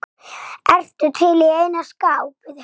Ertu til í eina skák?